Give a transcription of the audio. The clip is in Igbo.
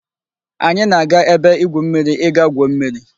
Anyi na-aga ebe igwu mmiri I ga-gwuo mmiri